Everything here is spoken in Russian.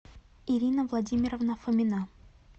ирина владимировна фомина